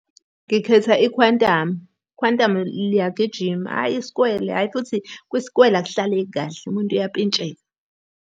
Ngikhetha ikhwantamu. Ikhwantamu liyagijima, hhayi isikwele, hhayi futhi kwisikwele akuhlaleki kahle umuntu uyapintsheka.